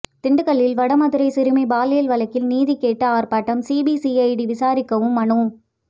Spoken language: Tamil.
திண்டுக்கல்லில் வடமதுரை சிறுமி பாலியல் வழக்கில் நீதி கேட்டு ஆர்ப்பாட்டம் சிபிசிஐடி விசாரிக்கவும் மனு